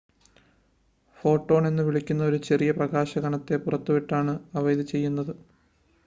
photon എന്നുവിളിക്കുന്ന ഒരു ചെറിയ പ്രകാശ കണത്തെ പുറത്തുവിട്ടാണ് അവ ഇത് ചെയ്യുന്നത്